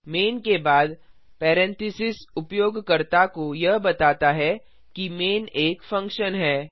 man के बाद parenthesis उपयोगकर्ता को यह बताता है कि मैन एक फंक्शन है